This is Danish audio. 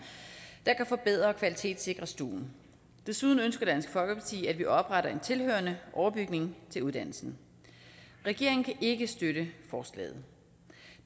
der kan forbedre og kvalitetssikre stuen desuden ønsker dansk folkeparti at vi opretter en tilhørende overbygning til uddannelsen regeringen kan ikke støtte forslaget